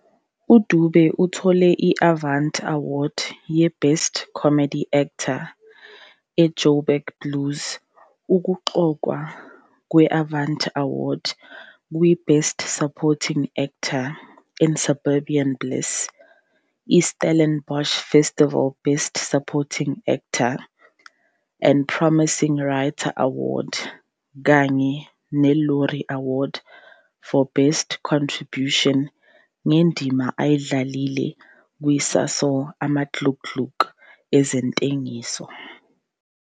UDube uthole i-Avanti Award ye-Best Comedy Actor e- "Joburg Blues", ukuqokwa kwe-Avanti Award kwe-Best Supporting Actor in "Suburban Bliss", i-Stellenbosch Festival Best Supporting Actor and Promising Writer Award, kanye ne-Loerie Award for Best Contribution ngendima ayidlalile kwi-SASOL "Amaglugglug" ezentengiso.